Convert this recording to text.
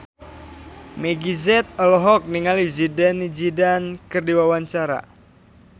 Meggie Z olohok ningali Zidane Zidane keur diwawancara